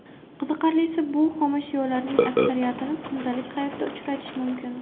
Qiziqarlisi, bu xomashyolarning aksariyatini kundalik hayotda uchratish mumkin.